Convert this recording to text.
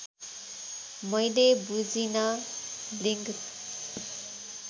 मैले बुझिन लिङ्क